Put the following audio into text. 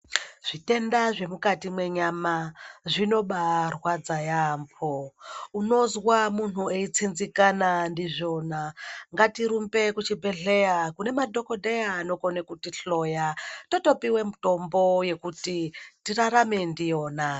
Zvitenda zvemukati menyama zvinobaarwadza yaamho, unozwa muntu eitsinzikana ndizvona ngatirumbe kuchibhedhlera kune madhogodheya anokone kutihloya totopiwe mitombo yekuti tirarame ndiyona.